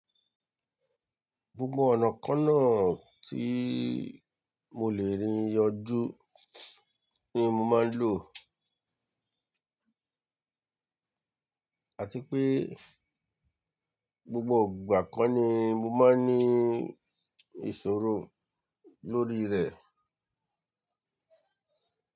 Gbogbo ọ̀nà kan náà tí mo lè rí yanjú ni mo máa ń lò. Àti pé gbogbo ìgbà kan ni mo máa ń ní ìṣòro lórí rẹ̀.